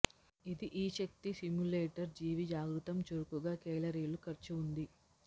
ఇది ఈ శక్తి సిమ్యులేటర్ జీవి జాగృతం చురుకుగా కేలరీలు ఖర్చు ఉంది